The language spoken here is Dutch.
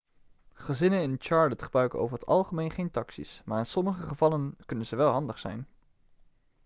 gezinnen in charlotte gebruiken over het algemeen geen taxi's maar in sommige gevallen kunnen ze wel handig zijn